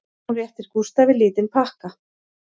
Hún réttir Gústafi lítinn pakka